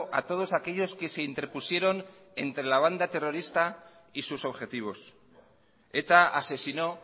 a todos aquellos que se interpusieron entre la banda terrorista y sus objetivos eta asesinó